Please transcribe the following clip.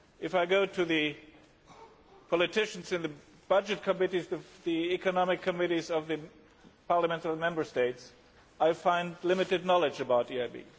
If I go to the politicians on the budget committees or the economic committees of the parliaments of the Member States, I find limited knowledge about the EIB.